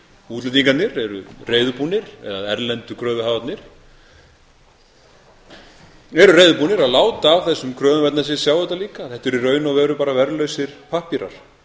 útlendingarnir eru reiðubúnir eða erlendu kröfuhafarnir eru reiðubúnir að láta af þessum kröfum eða þess að þeir sjá þetta lík þetta eru í raun og veru bara verðlausir pappírar